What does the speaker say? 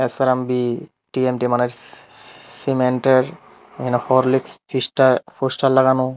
SRMB TMT মানে cement -এর এখানে হরলিক্স ফিস্টা ফোস্টার লাগানো।